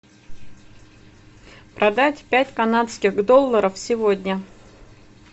продать пять канадских долларов сегодня